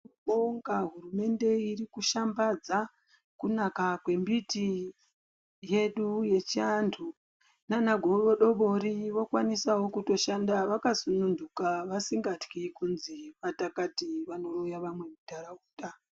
Tinobonga hurumende irikushambadza kunaka kwembiti yedu yechiantu. Naanagodobori vokwanisawo kutoshanda vakasununduka vasingatyi kuzi vakakati vanoroya vamwe muntaraunda.